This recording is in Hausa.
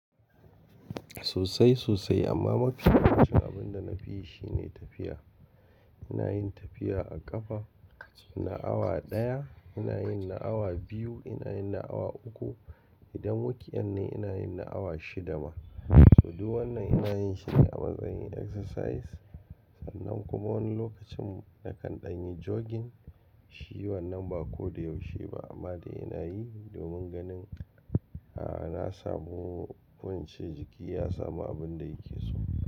Sosai sosai amma mafi yawancin abin da nafi yi shine tafiya. Ina yin tafiya a ƙafa, ina awa ɗaya, ina yin na awa biyu, ina yin na awa uku. Idan wak'i yan ne ina yin na awa shida ma. So duk wannan ina yin shi ne amma zan yi exercise sannan kuma wani lokacin nakan ɗan yi jogging. Shi wannan ba ko da yaushe ba amma dai ina yi domin ganin, a'a na samu ko ince jiki ya samu abin da yake so.